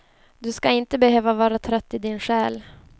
Du ska inte behöva vara trött i din själ.